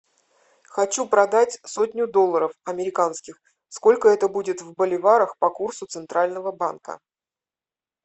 хочу продать сотню долларов американских сколько это будет в боливарах по курсу центрального банка